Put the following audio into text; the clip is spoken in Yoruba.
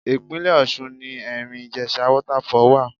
Ìpínlè Ọ̀ṣun ni Ẹ̀rìn-Ìjèṣa Waterfall wà.